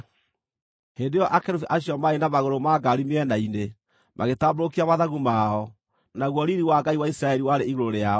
Hĩndĩ ĩyo akerubi acio, marĩ na magũrũ ma ngaari mĩena-inĩ, magĩtambũrũkia mathagu mao, naguo riiri wa Ngai wa Isiraeli warĩ igũrũ rĩao.